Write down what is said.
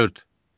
Dörd.